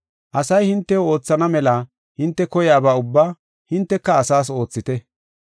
Asay hintew oothana mela hinte koyaba ubbaa hinteka asaas oothite.